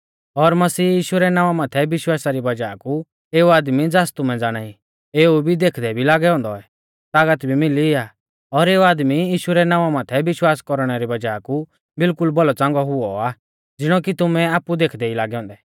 और मसीह यीशु रै नावां माथै विश्वासा री वज़ाह कु एऊ आदमी ज़ास तुमै ज़ाणाई और इबी देखदै भी लागै औन्दै तागत मिली आ और एऊ आदमी यीशु रै नावां माथै विश्वास कौरणै री वज़ाह कु बिल्कुल भौलौच़ांगौ हुऔ आ ज़िणौ कि तुमै आपु ई देखदै लागै औन्दै